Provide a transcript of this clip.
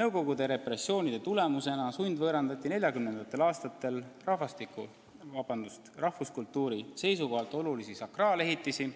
Nõukogude repressioonide tagajärjel sundvõõrandati 1940. aastatel rahvuskultuuri seisukohalt olulisi sakraalehitisi,